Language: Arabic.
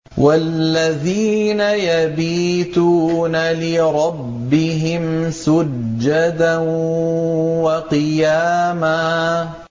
وَالَّذِينَ يَبِيتُونَ لِرَبِّهِمْ سُجَّدًا وَقِيَامًا